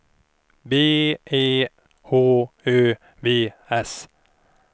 B E H Ö V S